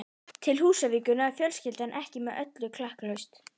Til Húsavíkur náði fjölskyldan ekki með öllu klakklaust.